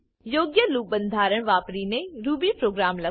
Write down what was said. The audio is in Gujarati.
યોગ્ય લૂપ બંધારણ વાપરીને રૂબી પ્રોગ્રામ લખો